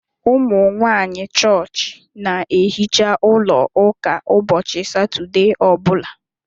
Umunwanyi chọọchị n'ehicha ụlọ ụka ụbọchị satọdee ọbula